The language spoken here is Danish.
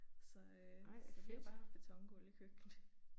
Så øh så vi har bare haft betongulv i køkkenet